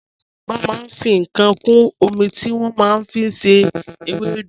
Àwọn Yorùbá màá n fi kàán kún ọmí tí wọ́n màá n fi ṣẹ̀ èwèdú.